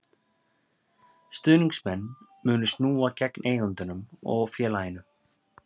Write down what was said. Stuðningsmenn munu snúast gegn eigendunum og félaginu.